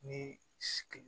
Ni sigi